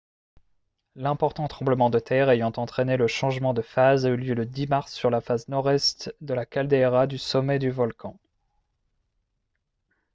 l'important tremblement de terre ayant entraîné le changement de phase a eu lieu le 10 mars sur la face nord-est de la caldeira du sommet du volcan